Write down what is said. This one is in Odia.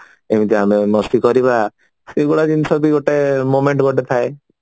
ଏମିତି ଆମେ ମସ୍ତି କରିବା ସେଇଗୁଡା ଜିନିଷ ବି ଗୋଟେ moment ଗୋଟେ ଥାଏ